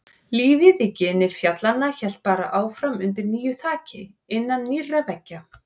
Lífið í gini fjallanna hélt bara áfram undir nýju þaki, innan nýrra veggja.